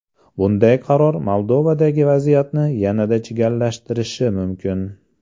Bunday qaror Moldovadagi vaziyatni yanada chigallashtirishi mumkin”.